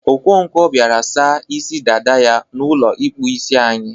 Okonkwo biara sa isi dada ya n'ụlọ ịkpụ isi anyị.